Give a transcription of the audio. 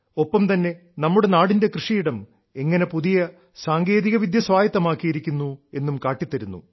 ഒപ്പം തന്നെ നമ്മുടെ നാടിന്റെ കൃഷിയിടം എങ്ങനെ പുതിയ സാങ്കേതികവിദ്യ സ്വായത്തമാക്കിയിരിക്കുന്നു എന്നും കാട്ടിത്തരുന്നു